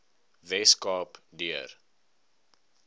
wes kaap deur